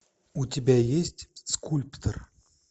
у тебя есть скульптор